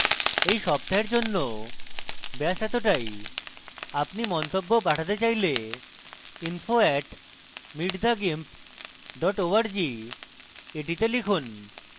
এই সপ্তাহের জন্য ব্যাস এতটাই আপনি মন্তব্য পাঠাতে চাইলে info @meetthegimp org তে লিখুন